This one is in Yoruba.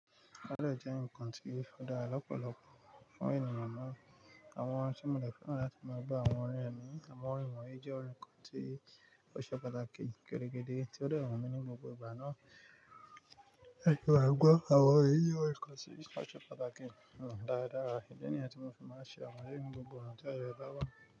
Ọlọ́ jẹ́ nǹkan tí ó dára lọ́pọ̀lọpọ̀ fún ènìyàn naa. Àwọn tí mo le fẹ́ rán láti máa ba àwọn ọ̀rẹ́ mi. Àwọn ọ̀rẹ́ mi wón yii jẹ́ ọ̀rẹ́ kan tí ó ṣe pàtàkì gẹ́dẹ́ gẹ́dẹ́ tí ó dẹran mi ní gbogbo ìgbà náà. Ẹ̀kọ́ àgbọ́, àwọn èèyàn ọ̀rẹ́ kan tí ṣe pàtàkì fún mi dáadáa. Ìdí nìyẹn tí mo fi máa ń ṣe àwọn ẹ́le ni gbogbo ònà tí ayé bá wá.